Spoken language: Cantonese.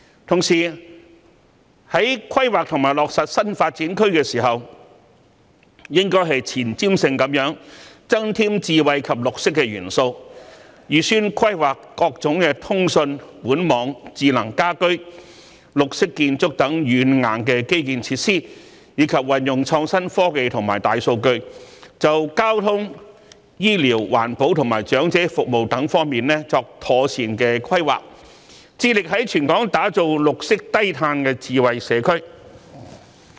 同時，在規劃及落實新發展區時，應前瞻性地增添智慧及綠色元素，預先規劃各種通訊、管網、智能家居、綠色建築等軟硬基建設施，以及運用創新科技及大數據，就交通、醫療、環保及長者服務等方面作出妥善規劃，致力於全港打造綠色低碳的智慧社區。